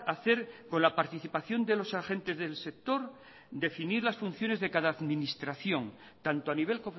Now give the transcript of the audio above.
hacer con la participación de los agentes del sector definir las funciones de cada administración tanto a nivel